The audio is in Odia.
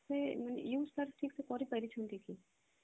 use ତାର ଠିକ ସେ କରି ପାରିଛନ୍ତି କି